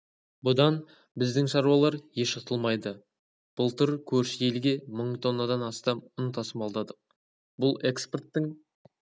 бұдан біздің шаруалар еш ұтылмайды былтыр көрші елге мың тоннадан астам ұн тасымалдадық бұл экспорттың